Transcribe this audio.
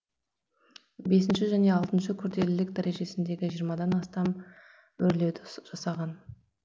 бесінші және алтыншы күрделілік дәрежесіндегі жиырмадан астам өрлеуді жасаған